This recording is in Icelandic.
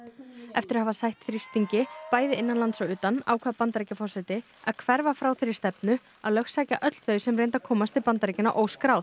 eftir að hafa sætt þrýstingi bæði innanlands og utan ákvað Bandaríkjaforseti að hverfa frá þeirri stefnu að lögsækja öll þau sem reyndu að komast til Bandaríkjanna óskráð